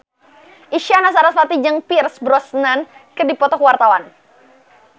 Isyana Sarasvati jeung Pierce Brosnan keur dipoto ku wartawan